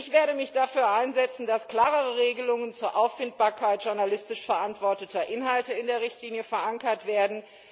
Ich werde mich dafür einsetzen, dass klarere Regelungen zur Auffindbarkeit journalistisch verantworteter Inhalte in der Richtlinie verankert werden.